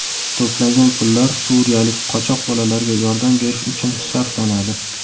To‘plangan pullar suriyalik qochoq bolalarga yordam berish uchun sarflanadi.